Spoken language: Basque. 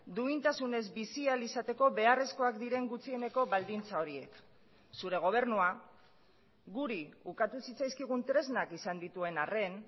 duintasunez bizi ahal izateko beharrezkoak diren gutxieneko baldintza horiek zure gobernua guri ukatu zitzaizkigun tresnak izan dituen arren